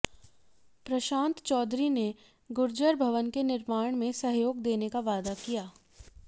प्रशांत चौधरी ने गुर्जर भवन के निर्माण में सहयोग देने का वादा किया